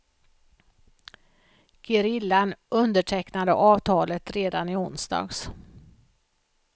Gerillan undertecknade avtalet redan i onsdags.